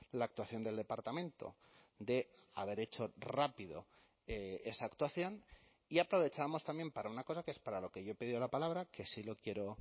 la actuación del departamento de haber hecho rápido esa actuación y aprovechamos también para una cosa que es para lo que yo he pedido la palabra que sí lo quiero